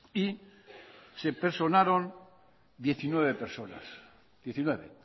y se personaron diecinueve personas diecinueve